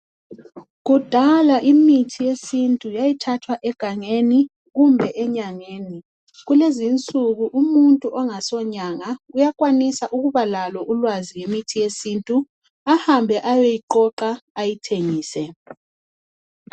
Kudala imithi yesintu yayithathwa egangeni kumbe enyangeni. Kulezi insuku umuntu ongasonyanga uyakwanisa ukuba lolwazi ngemithi yesintu ahambe eyoyiqoqa ayithengise.